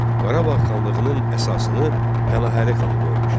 Qarabağ xanlığının əsasını Pənahəli xan qoymuşdu.